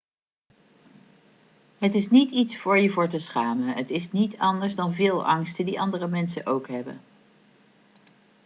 het is niet iets voor je voor te schamen het is niet anders dan veel angsten die andere mensen ook hebben